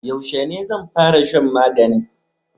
Yaushe ne zan fara shan maganin?